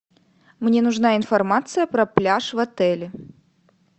мне нужна информация про пляж в отеле